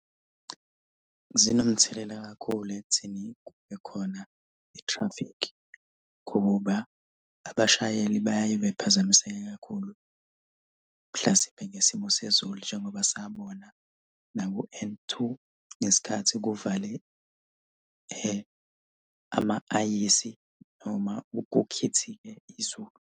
Zinomthelela kakhulu ekutheni kube khona i-traffic, ngoba abashayeli bayaye bephazamise kakhulu. Mhlasimpe ngesimo sezulu njengoba sabona naku-N two ngesikhathi kuvale ama-ayisi noma kukhithike izulu.